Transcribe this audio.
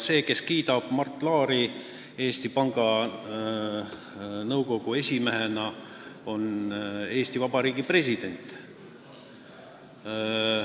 See, kes kiidab Mart Laari Eesti Panga Nõukogu esimehena, on Eesti Vabariigi president.